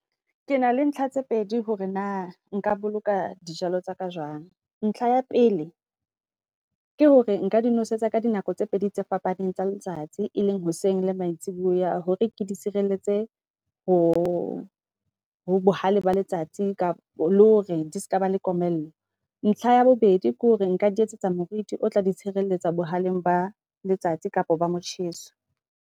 Ke na le ntlha tse pedi hore na nka boloka dijalo tsa ka jwang. Ntlha ya pele ke hore nka di nosetsa ka di nako tse pedi tse fapaneng tsa letsatsi, e leng hoseng le maitsibuya hore ke di sireletse ho ho bohale ba letsatsi le hore di ska ba le komello. Ntlha ya bobedi, ke hore nka di etsetsa, moruti o tla di tshireletsa bohaleng ba letsatsi kapo ba motjheso.